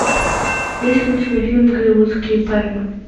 есть ли у тебя фильм голливудские пальмы